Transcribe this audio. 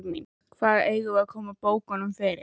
Hvar eigum við að koma bókunum fyrir?